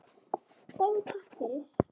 Segðu takk fyrir.